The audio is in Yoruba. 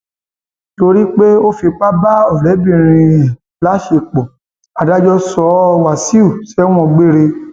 torí pé ó fipá bá ọrẹbìnrin ẹ láṣepọ adájọ sọ wáṣíù sẹwọn gbére